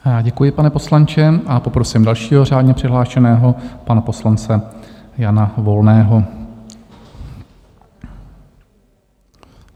Děkuji, pane poslanče, a poprosím dalšího řádně přihlášeného pana poslance Jana Volného.